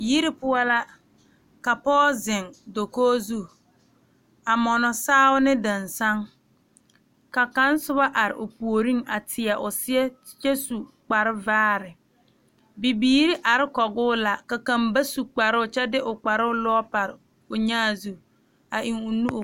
Yiri poɔ la a pɔge zeŋ dakoo zu a mɔnɔ saao ne dansaŋ ka kaŋa soba are o puori a tieno seɛ kyɛ su kpar vaare bibiiri are kɔge o la ka kaŋ ba su kparoo kyɛ de o.kparoo Lɔɛ pare onyaa zu kyɛ de o nu